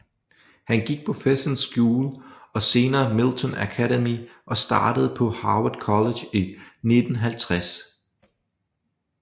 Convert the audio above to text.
Han gik på Fessenden School og senere Milton Academy og startede på Harvard College i 1950